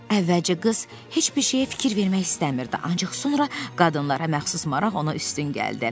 Əvvəlcə qız heç bir şeyə fikir vermək istəmirdi, ancaq sonra qadınlara məxsus maraq ona üstün gəldi.